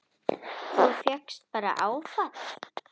Þú fékkst bara áfall!